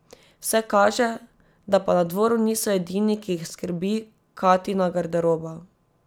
Vse kaže, da pa na dvoru niso edini, ki jih skrbi Katina garderoba.